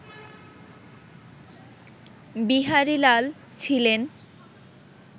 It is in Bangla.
বিহারীলাল ছিলেন